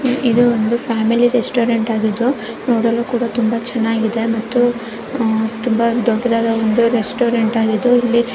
ಇದು ಒಂದು family restaurant ಆಗಿದ್ದು ನೋಡಲು ಕೂಡ ತುಂಬಾ ಚೆನ್ನಾಗಿದೆ ಮತ್ತು ಅಹ್ ತುಂಬಾ ದೊಡ್ಡದಾ ಒಂದು ರೆಸ್ಟೋರೆಂಟ್ ಇಲ್ಲಿ --